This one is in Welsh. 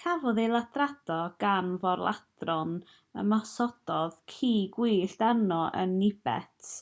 cafodd ei ladrata gan fôr-ladron ymosododd ci gwyllt arno yn nhibet